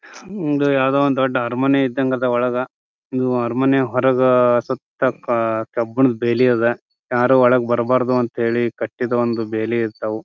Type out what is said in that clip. ಹೂಮ್ ಯಾವ್ದೋ ಒಂದು ದೊಡ್ಡ್ ಅರಮನೆ ಇದ್ದಂಗ್ ಅದ ಒಳಗ. ಇದು ಅರಮನೆ ಹೊರಗ ಸುತ್ತ ಕ ಕಬ್ಬಣದ ಬೇಲಿ ಅದ ಯಾರೂ ಒಳಗ್ ಬರ್ಬಾರ್ದು ಅಂತ ಹೇಳಿ ಕಟ್ಟಿದ ಒಂದು ಬೇಲಿ ಇರ್ತಾವು.